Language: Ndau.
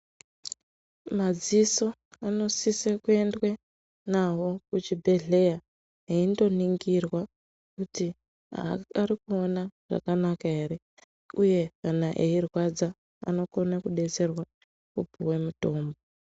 Madziso anosise kuendwe nawo kuchibhedhleya, eindoningirwa kuti ari kuona zvakanaka ere, uye kana eirwadza anokone kudetserwa opuwe mitombo.